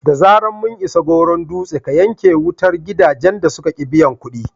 Da zarar mun isa Goron Dutse, ka yanke wutar gidajen da suka ƙi biyan kuɗi!"